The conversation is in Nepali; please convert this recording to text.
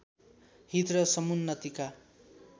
हित र समुन्नतिका